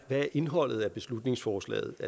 hvad indholdet af beslutningsforslaget